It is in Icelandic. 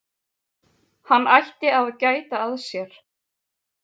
Hann ætti að gæta að sér.